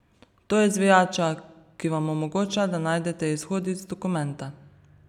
To je zvijača, ki vam omogoča, da najdete izhod iz dokumenta.